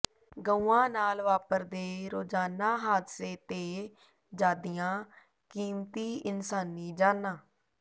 ਗਊਆਂ ਨਾਲ ਵਾਪਰਦੇ ਰੋਜਾਨਾ ਹਾਦਸੇ ਤੇ ਜਾਦੀਆਂ ਕੀਮਤੀ ਇਨਸਾਨੀ ਜਾਨਾਂ